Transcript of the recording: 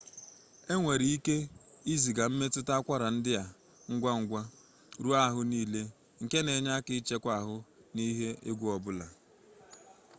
enwere ike iziga mmetụta akwara ndị a ngwa ngwa ruo ahụ niile nke na-enye aka ịchekwa ahụ n'ihe egwu ọbụla